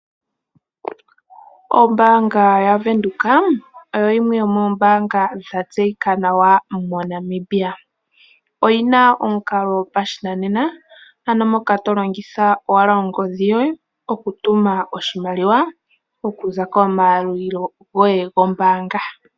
Ombaanga yaVenduka oyo yimwe yomoombaanga dha tseyika nawa moNamibia. Oyina omukalo gopashinanena ano moka to longitha owala ongodhi yoye okutuma oshimaliwa okuza komayalulilo goye gombaanga.